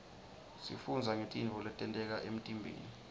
sifundza ngetintfo letenteka emtiimbeni